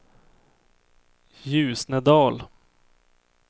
Ljusnedal